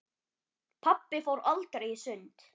Pabbi fór aldrei í sund.